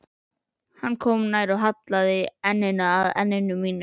Hann kom nær, hallaði enninu að enni mínu.